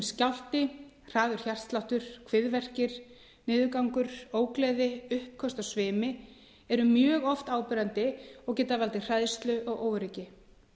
skjálfti hraður hjartsláttur kviðverkir niðurgangur ógleði uppköst og svimi eru mjög oft áberandi og geta valdið hræðslu og óöryggi